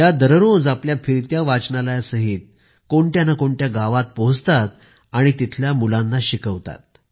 त्या दररोज आपल्या फिरत्या वाचनालयासहित कोणत्या नं कोणत्या गावात पोहचतात आणि तिथल्या मुलांना शिकवतात